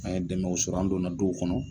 An ye dɛmɛw sɔrɔ an donna duw kɔnɔ